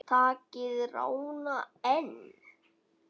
Takið rána, en